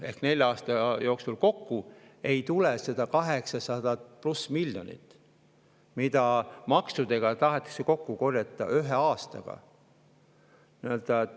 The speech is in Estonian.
– ehk nelja aasta jooksul ei tule 800 pluss miljoni võrra, mida maksudega tahetakse kokku korjata ühe aastaga.